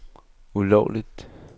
ulovligt